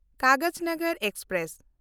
Kagaznagar express